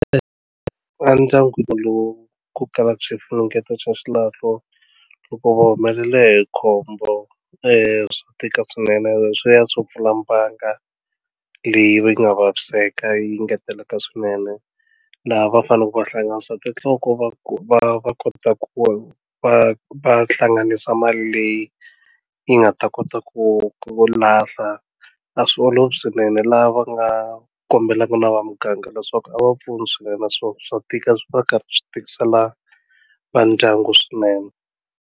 Endyangwini lowu ku kalaka swifunengeto swa xilahlo loko wo humelela hi khombo swi tika swinene leswiya swo pfula mbanga leyi va yi nga vaviseka yi ngeteleka swinene laha va faneleke va hlanganisa tinhloko va va va kota ku va va hlanganisa mali leyi yi nga ta kota ku ku lahla a swi olovi swinene laha va nga kombelaka na vamuganga leswaku a va pfuni swinene naswona swa tika swi va karhi swi tikisela vandyangu swinene.